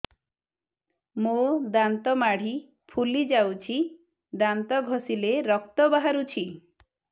ମୋ ଦାନ୍ତ ମାଢି ଫୁଲି ଯାଉଛି ଦାନ୍ତ ଘଷିଲେ ରକ୍ତ ବାହାରୁଛି